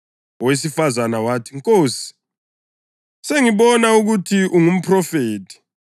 Owesifazane wathi, “Nkosi, sengibona ukuthi ungumphrofethi.